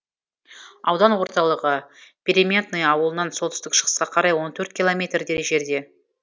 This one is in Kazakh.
аудан орталығы переметное ауылынан солтүстік шығысқа қарай он төрт километрдей жерде